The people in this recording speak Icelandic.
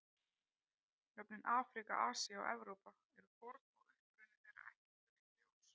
Nöfnin Afríka, Asía og Evrópa eru forn og uppruni þeirra ekki fullljós.